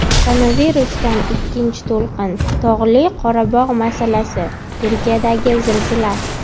Koronavirusdan ikkinchi to‘lqin, Tog‘li Qorabog‘ masalasi, Turkiyadagi zilzila.